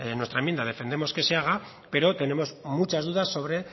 nuestra enmienda defendemos que se haga pero tenemos muchas dudas sobre